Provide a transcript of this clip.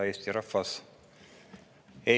Hea Eesti rahvas!